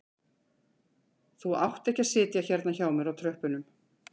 Þú átt ekki að sitja hérna hjá mér á tröppunum